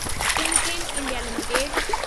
Timken India limited